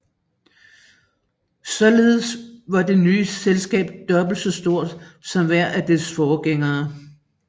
Således var det nye selskab dobbelt så stort som hver af dets forgængere